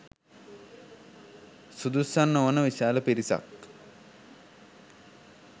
සුදුස්සන් නොවන විශාල පිරිසක්